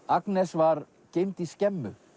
Agnes var geymd í skemmu